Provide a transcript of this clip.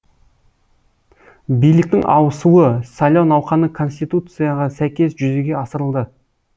биліктің ауысуы сайлау науқаны конституцияға сәйкес жүзеге асырылды